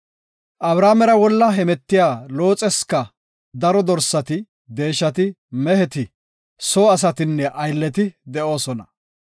Abramera wolla hemetiya Looxesika daro dorsati, deeshati, meheti, soo asatinne aylleti de7oosona.